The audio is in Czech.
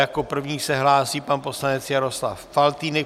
Jako první se hlásí pan poslanec Jaroslav Faltýnek.